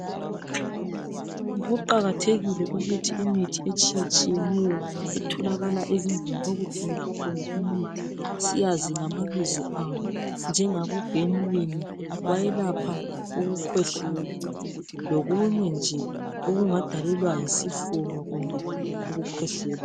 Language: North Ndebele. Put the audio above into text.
Kuqakathekile ukuthi imithi etshiyetshiyeneyo etholakala ezindlini okuthengiswa khona imithi siyazi ngamabizo awo njengabo benylin bayelapha ukukhwehlela lokunye nje okungadalelwa yisifuba kumbe ukukhwehlela.